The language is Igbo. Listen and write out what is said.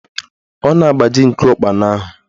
Ọ na-agbaji nku ụkpana ahụ